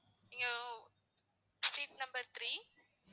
நீங்க seat number three